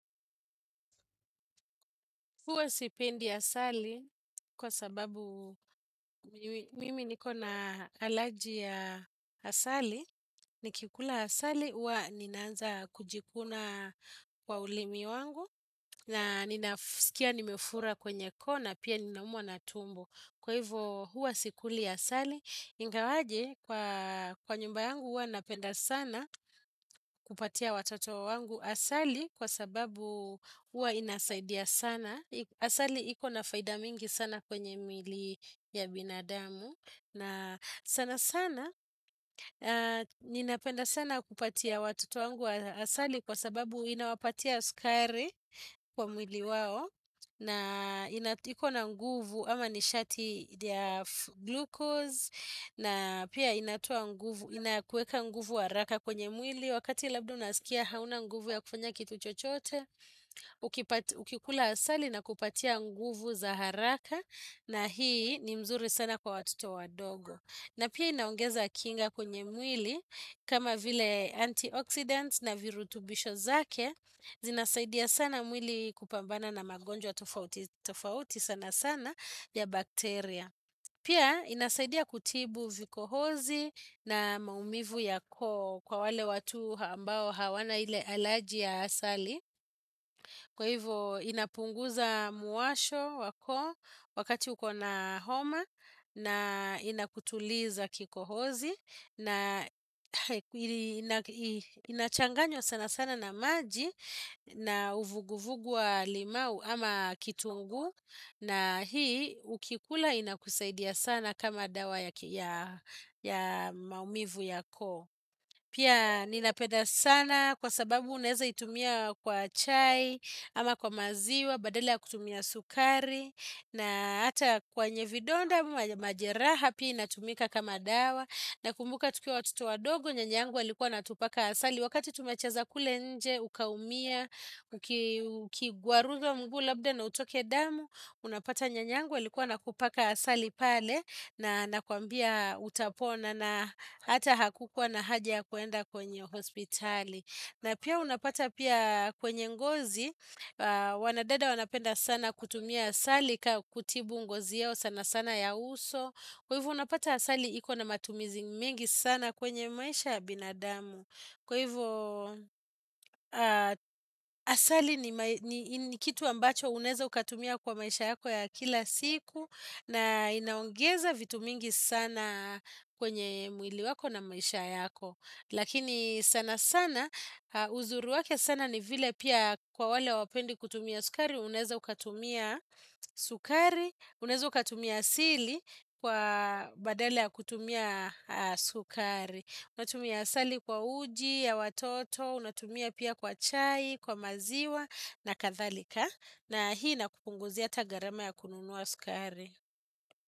Huwa sipendi asali kwa sababu mimi niko na alaji ya asali. Nikikula asali, huwa ninaanza kujikuna kwa ulimi wangu na ninafskia nimefura kwenye koo na pia ninaumwa na tumbo. Kwa hivyo huwa sikuli asali, ingawaje kwa nyumba yangu huwa napenda sana kupatia watoto wangu asali kwa sababu huwa inasaidia sana. Asali ikona faida mingi sana kwenye mili ya binadamu na sana sana ninapenda sana kupatia watoto wangu wa asali kwa sababu inawapatia sukari kwa mili wao na ikona nguvu ama nishati ya glukos na pia inakueka nguvu wa haraka kwenye mwili. Wakati labda unaskia hauna nguvu ya kufanya kitu chochote, ukikula asali na kupatia nguvu za haraka na hii ni mzuri sana kwa watoto wadogo. Na pia inaongeza kinga kwenye mwili kama vile antioxidants na virutubisho zake, zinasaidia sana mwili kupambana na magonjwa tofauti sana sana ya bakteria. Pia, inasaidia kutibu vikohozi na maumivu ya koo kwa wale watu hambao hawana ile alaji ya asali. Kwa hivyo, inapunguza muwasho wako wakati ukona homa na inakutuliza kikohozi na inachanganywa sana sana na maji na uvuguvugu wa limau ama kitungu. Na hii ukikula inakusaidia sana kama dawa ya maumivu yako. Pia ninapeda sana kwa sababu uneza itumia kwa chai ama kwa maziwa badala ya kutumia sukari na ata kwenye vidonda majeraha pia inatumika kama dawa. Nakumbuka tukia watoto wadogo, nyanyangu alikuwa anatupaka asali Wakati tumecheza kule nje, ukaumia, ukiguaruzwa mgu labda na utoke damu Unapata nya nyangu alikuwa ana kupaka asali pale na anakuambia utapona na hata hakukua na haja kuenda kwenye hospitali na pia unapata pia kwenye ngozi Wanadada wanapenda sana kutumia asali kutibu ngozi yao sana sana ya uso Kwa hivyo unapata asali ikona matumizi mingi sana kwenye maisha ya binadamu. Kwa hivyo asali ni kitu ambacho uneza ukatumia kwa maisha yako ya kila siku na inaongeza vitu mingi sana kwenye mwili wako na maisha yako. Lakini sana sana, uzuri wake sana ni vile pia kwa wale hawapendi kutumia sukari, uneza ukatumia sukari, uneza ukatumia asili kwa badala ya kutumia sukari. Unatumia asali kwa uji, ya watoto, unatumia pia kwa chai, kwa maziwa na kathalika. Na hii inakupunguzia ata garama ya kununuwa sukari.